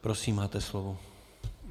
Prosím, máte slovo.